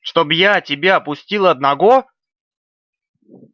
чтоб я тебя пустил одного